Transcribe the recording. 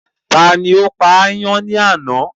Tani ó pa ayán ní àná?